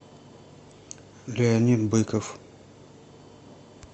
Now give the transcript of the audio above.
леонид быков